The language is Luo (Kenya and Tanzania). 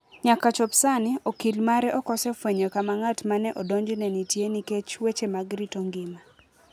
Nyaka chop sani, okil mare ok osefwenyo kama ng'at ma ne odonjne nitie nikech "weche mag rito ngima".